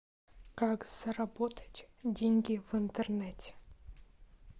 как заработать деньги в интернете